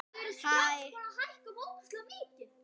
Hvernig skýrir Eyþór það?